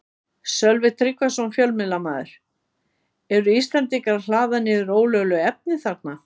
Sölvi Tryggvason, fjölmiðlamaður: Eru Íslendingar að hlaða niður ólöglegu efni þarna?